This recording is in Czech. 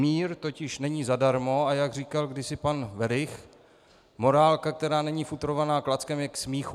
Mír totiž není zadarmo, a jak říkal kdysi pan Werich, morálka, která není futrovaná klackem, je k smíchu.